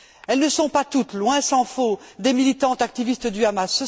Elles ne sont pas toutes, loin s'en faut, des militantes activistes du Hamas.